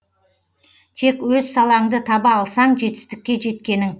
тек өз салаңды таба алсаң жетістікке жеткенің